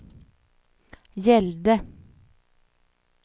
gällde